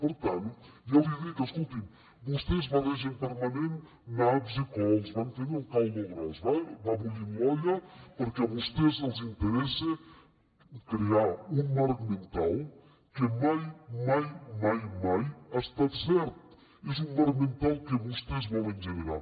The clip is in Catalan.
per tant ja l’hi dic escolti’m vostès barregen permanentment naps i cols van fent el caldo gros va bullint l’olla perquè a vostès els interessa crear un marc mental que mai mai ha estat cert és un marc mental que vostès volen generar